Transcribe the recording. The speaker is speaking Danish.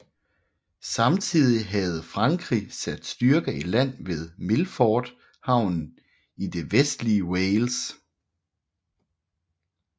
Samtidig havde Frankrig sat styrker i land ved Milford Haven i det vestlige Wales